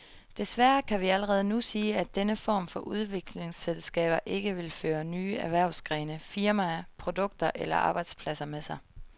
Desværre kan vi allerede nu sige, at denne form for udviklingsselskaber ikke vil føre nye erhvervsgrene, firmaer, produkter eller arbejdspladser med sig.